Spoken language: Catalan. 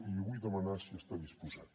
i li vull demanar si hi està disposat